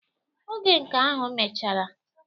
Oge nke ahụ mechara.